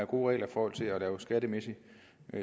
gode regler for at lave skattemæssig